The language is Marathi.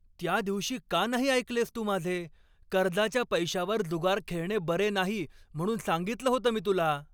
त्या दिवशी का नाही ऐकलेस तू माझे? कर्जाच्या पैशावर जुगार खेळणे बरे नाही म्हणून सांगितलं होतं मी तुला.